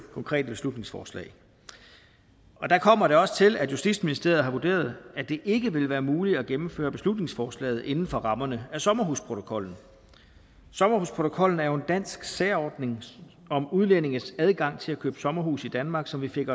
konkrete beslutningsforslag og der kommer det også til at justitsministeriet har vurderet at det ikke vil være muligt at gennemføre beslutningsforslaget inden for rammerne af sommerhusprotokollen sommerhusprotokollen er jo en dansk særordning om udlændinges adgang til at købe sommerhus i danmark som vi fik